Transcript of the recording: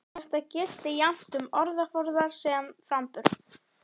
Þetta gilti jafnt um orðaforða sem framburð.